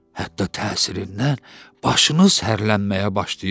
hətta təsirindən başınız hərrlənməyə başlayır.